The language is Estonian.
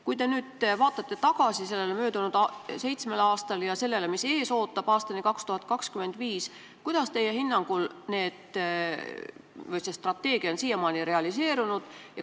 Kui te nüüd vaatate tagasi möödunud seitsmele aastale ja mõtlete sellele, mis ootab ees aastani 2025, kuidas siis teie hinnangul see strateegia on siiamaani realiseerunud?